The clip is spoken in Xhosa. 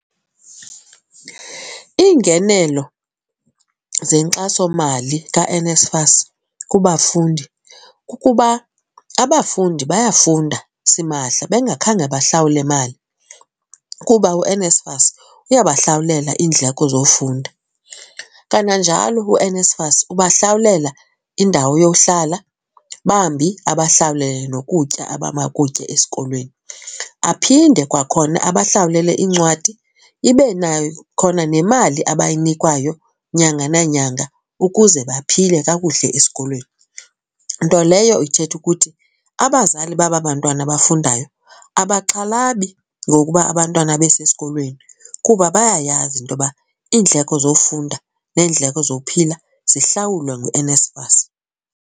Iingenelo zenkxasomali kaNSFAS kubafundi kukuba abafundi bayafunda simahla bengakhange bahlawule mali kuba uNSFAS uyabahlawulela iindleko zofunda. Kananjalo uNSFAS ubahlawulelwa indawo yohlala bambi abahlawulele nokutya abamakutye esikolweni. Aphinde kwakhona abahlawulele iincwadi, ibe nayo khona nemali abayinikwayo nyanga nanyanga ukuze baphile kakuhle esikolweni. Nto leyo ithetha ukuthi abazali babantwana abafundayo abaxhalabi ngokuba abantwana besesikolweni kuba bayayazi into yoba iindleko zofunda neendleko zophila zihlawulwe nguNSFAS.